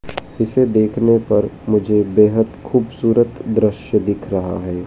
इसे देखने पर मुझे बेहद खूबसूरत दृश्य दिख रहा हैं।